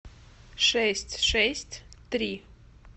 шесть шесть три